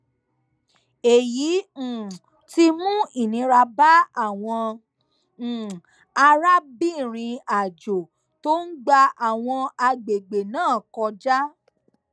èyí um ti mú ìnira bá àwọn um arábìnrinàjò tó ń gba àwọn agbègbè náà kọjá